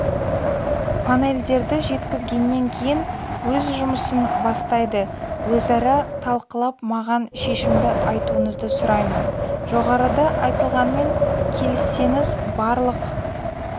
панельдерді жеткізгеннен кейін өз жұмысын бастайды өзара талқылап маған шешімді айтуыңызды сұраймын жоғарыда айтылғанмен келіссеңіз барлық